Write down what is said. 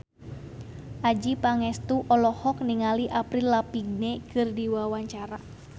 Adjie Pangestu olohok ningali Avril Lavigne keur diwawancara